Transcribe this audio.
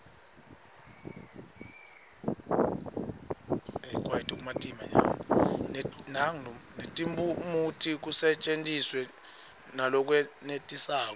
netiphumuti kusetjentiswe ngalokwenetisako